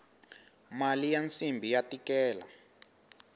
mali ya nsimbhi ya tikela